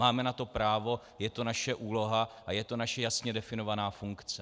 Máme na to právo, je to naše úloha a je to naše jasně definovaná funkce.